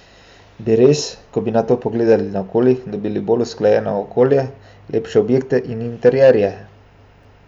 Bi res, ko bi nato pogledali naokoli, dobili bolj usklajeno okolje, lepše objekte in interierje?